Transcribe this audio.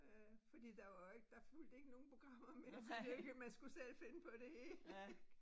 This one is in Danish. Øh fordi der var jo ikke der fulgte ikke nogen programmer med så det jo ikke man skulle jo selv finde på det hele ik